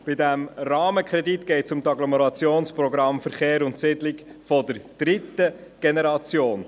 Bei diesem Rahmenkredit geht es um die Agglomerationsprogramme Verkehr und Siedlung der dritten Generation.